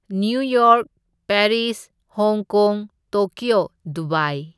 New York, Paris, Hong Kong, Tokyo, Dubai.